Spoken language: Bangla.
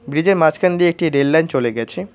ব্রীজের মাঝখান দিয়ে একটি রেল লাইন চলে গেছে।